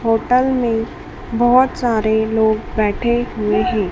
Hotel में बहोत सारे लोग बैठे हुए हैं।